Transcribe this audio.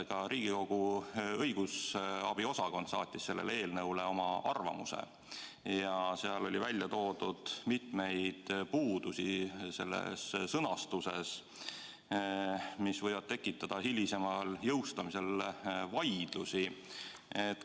Ka Riigikogu õigusabi osakond saatis selle eelnõu kohta oma arvamuse ja seal oli toodud mitmeid puudusi sõnastuses, mis võivad tekitada hilisemal jõustamisel vaidlusi.